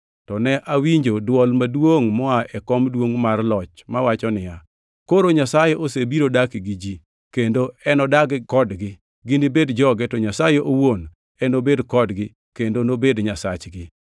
To ne awinjo dwol maduongʼ moa e kom duongʼ mar loch mawacho niya, “Koro Nyasaye osebiro dak gi ji kendo enodag kodgi, ginibed joge, to Nyasaye owuon enobed kodgi kendo nobed Nyasachgi.